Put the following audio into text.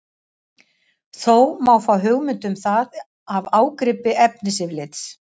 Þó má fá hugmynd um það af ágripi efnisyfirlits.